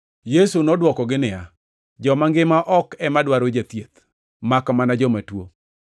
Yesu nodwokogi niya, “Joma ngima ok ema dwar jathieth makmana joma tuo.